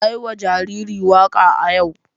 Na yi wa jariri waka a yau.